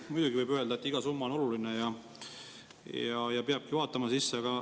Muidugi võib öelda, et iga summa on oluline ja peabki vaatama sisse.